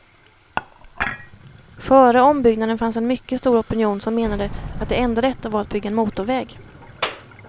Före ombyggnaden fanns en mycket stor opinion som menade att det enda rätta var att bygga en motorväg.